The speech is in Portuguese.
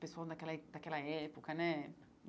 Pessoal daquela daquela época, né?